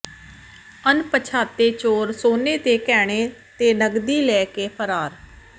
ਅਣਪਛਾਤੇ ਚੋਰ ਸੋਨੇ ਦੇ ਗਹਿਣੇ ਤੇ ਨਕਦੀ ਲੈ ਕੇ ਫਰਾਰ